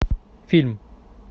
фильм